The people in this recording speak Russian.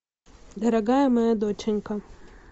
дорогая моя доченька